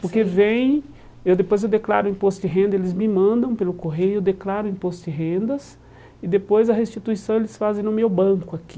Porque vem, eu depois eu declaro o imposto de renda, eles me mandam pelo correio, declaro o imposto de rendas e depois a restituição eles fazem no meu banco aqui.